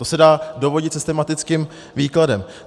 To se dá dovodit systematickým výkladem.